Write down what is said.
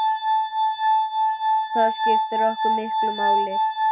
Það skiptir okkur miklu máli.